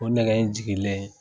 O nɛgɛ in jiginlen